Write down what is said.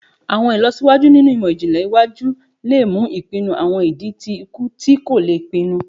Awọn ilọsiwaju ninu imọ-jinlẹ iwaju le mu ipinnu awọn idi ti iku ti ko le pinnu